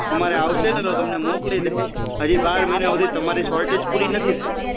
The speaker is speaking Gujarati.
અમારે આવશે ને તો તમને મોકલી દઈશ હજી બાર મહિના સુધી તમારી સોર્ટેજ પૂરી નથી થઈ